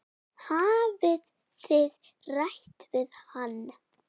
Hafið þið rætt við hann?